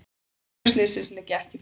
Tildrög slyssins liggja ekki fyrir.